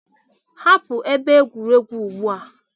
Hapụ ebe egwuregwu ugbu a!